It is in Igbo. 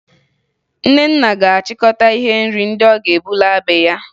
Nnenna ga-achịkọta ihe nri ndị ọ ga-ebu laa be ya